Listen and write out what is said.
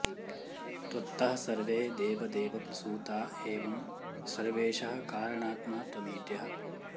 त्वत्तः सर्वे देवदेव प्रसूता एवं सर्वेशः कारणात्मा त्वमीड्यः